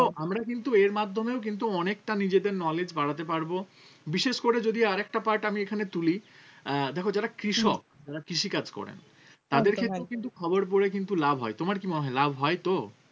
তো আমরা কিন্তু এর মাধ্যমেও কিন্তু অনেকটা নিজেদের knowledge বাড়াতে পারবো বিশেষ করে যদি আরেকটা part আমি এখানে তুলি আহ দেখো যারা কৃষক যারা কৃষিকাজ করে তাদের ক্ষেত্রেও কিন্তু খবর পরে কিন্তু লাভ হয় তোমার কি মনে হয় লাভ হয় তো?